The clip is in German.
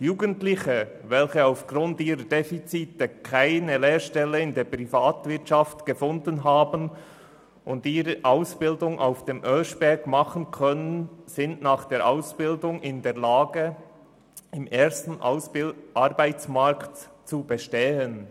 Jugendliche, welche aufgrund ihrer Defizite keine Lehrstelle in der Privatwirtschaft gefunden haben und ihre Ausbildung auf dem Oeschberg machen können, sind nach der Ausbildung in der Lage, im ersten Arbeitsmarkt zu bestehen.